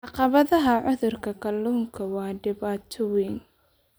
Caqabadaha cudurka kalluunka waa dhibaato weyn.